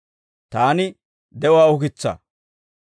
Taani de'uwaa ukitsaa.